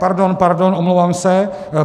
Pardon, pardon, omlouvám se.